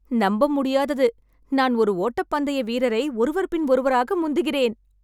நம்பமுடியாதது, நான் ஒரு ஓட்டப்பந்தய வீரரை ஒருவர் பின் ஒருவராக முந்துகிறேன்.